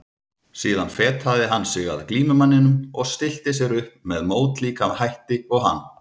Síðan fetaði hann sig að glímumanninum og stillti sér upp með mótlíka hætti og hann.